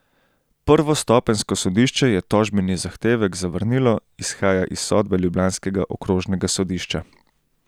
Prvostopenjsko sodišče je tožbeni zahtevek zavrnilo, izhaja iz sodbe ljubljanskega okrožnega sodišča.